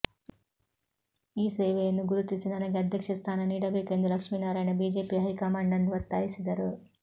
ಈ ಸೇವೆಯನ್ನು ಗುರುತಿಸಿ ನನಗೆ ಅಧ್ಯಕ್ಷ ಸ್ಥಾನ ನೀಡಬೇಕು ಎಂದು ಲಕ್ಷ್ಮಿನಾರಾಯಣ ಬಿಜೆಪಿ ಹೈಕಮಾಂಡ್ ನ್ನು ಒತ್ತಾಯಿಸಿದರು